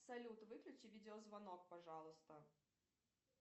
салют выключи видеозвонок пожалуйста